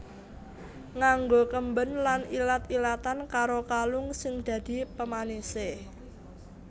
Nganggo kemben lan ilat ilatan karo kalung sing dadi pemanisé